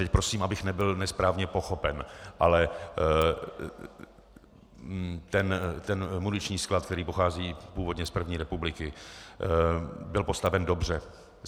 Teď prosím, abych nebyl nesprávně pochopen, ale ten muniční sklad, který pochází původně z první republiky, byl postaven dobře.